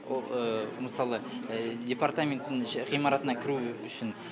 ол мысалы департаменттің іші ғимаратына кіру үшін